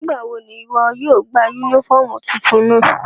Nigbawo ni iwọ yóò gba unifọmú tuntun náa?